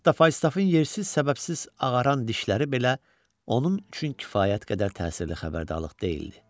Hətta Faustafın yersiz səbəbsiz ağaran dişləri belə onun üçün kifayət qədər təsirli xəbərdarlıq deyildi.